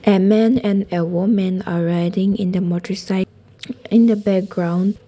A man and woman are riding in a motercycle in the background.